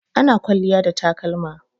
Ana kwalliya da takalma.